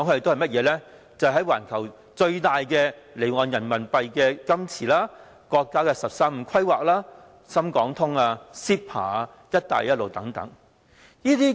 就是環球最大的離岸人民幣資金池、國家"十三五"規劃、深港通、CEPA、"一帶一路"等。